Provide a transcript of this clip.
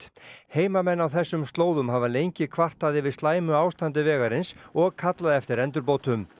heimamenn á þessum slóðum hafa lengi kvartað yfir slæmu ástandi vegarins og kallað eftir endurbótum